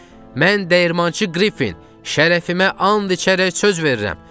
Mən dəyirmançı Qriffin, şərəfimə and içərək söz verirəm.